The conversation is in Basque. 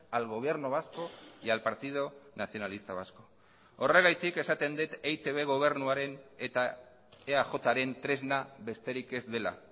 al gobierno vasco y al partido nacionalista vasco horregatik esaten dut eitb gobernuaren eta eajren tresna besterik ez dela